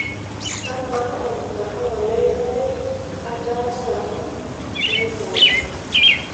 kamaa ormgahawa lai lanyor ataasa naitau